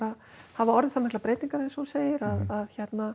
hafa orðið það miklar breytingar eins og hún segir að